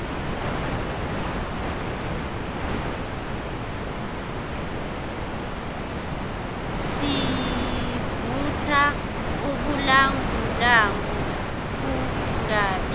sivutha ubulangulangu kungabi